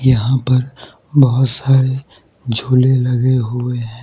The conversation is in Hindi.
यहां पर बहोत सारे झूले लगे हुए हैं।